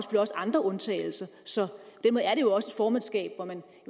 andre undtagelser så dermed er det også et formandskab hvor man